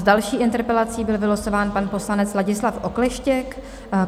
S další interpelací byl vylosován pan poslanec Ladislav Okleštěk.